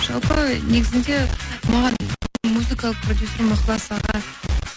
жалпы негізінде маған музыкалық продюсерім ықылас аға